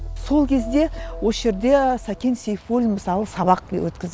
сол кезде осы жерде сәкен сейфуллин мысалы сабақ өткізіп